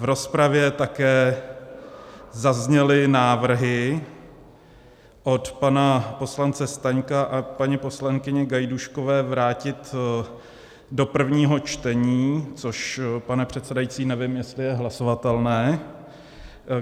V rozpravě také zazněly návrhy od pana poslance Staňka a paní poslankyně Gajdůškové vrátit do prvního čtení, což, pane předsedající, nevím, jestli je hlasovatelné.